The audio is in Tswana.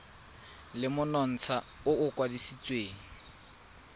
le monontsha o o kwadisitsweng